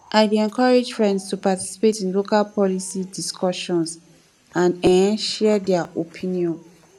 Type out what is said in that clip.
i dey encourage friends to participate in local policy discussions and um share their opinions